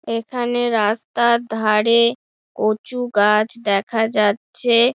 এখানে রাস্তার ধারে কচু গাছ দেখা যাচ্ছে।